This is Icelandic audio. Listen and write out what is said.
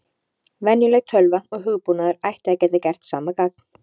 Venjuleg tölva og hugbúnaður ætti að geta gert sama gagn.